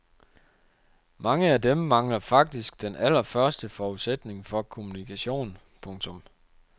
Mange af dem mangler faktisk den allerførste forudsætning for kommunikation. punktum